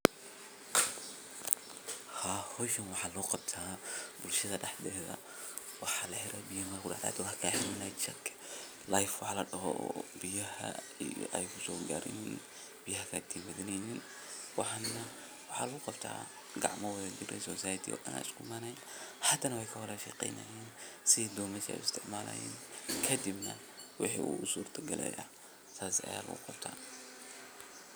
sidoo kale waa muhiim in ganacsatada badarka ay yeeshaan aqoon ku saabsan baahida suuqyada dibadda taas oo ka caawin karta inay beegsadaan dalal gaar ah oo raadinaya noocyada badarka ee kenya kasoo saarto sida galleyda, sarreenka, iyo masagada intaas waxaa dheer ganacsiyadaas waa in ay helaan xiriir toos ah oo ay la yeeshaan